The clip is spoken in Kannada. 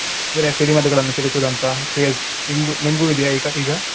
ಅಂದ್ರೆ ಸಿಡಿಮದ್ದುಗಳನ್ನು ಸಿಡಿಸೂದಂತ craze ನಿಮ್ಗ್~ ನಿಮ್ಗೂ ಇದೆಯಾ ಈಗ ಈಗ?